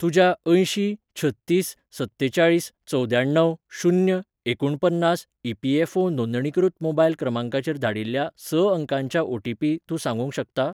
तुज्या अंयशीं छत्तीस सत्तेचाळीस चवद्याण्णव शून्य एकुणपन्नास ई.पी.एफ.ओ नोंदणीकृत मोबायल क्रमांकाचेर धाडिल्ल्या स अंकांच्या ओटीपी तूं सांगूंक शकता?